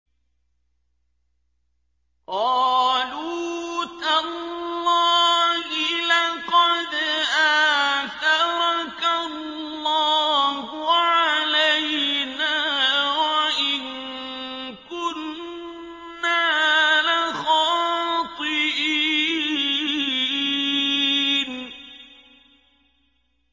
قَالُوا تَاللَّهِ لَقَدْ آثَرَكَ اللَّهُ عَلَيْنَا وَإِن كُنَّا لَخَاطِئِينَ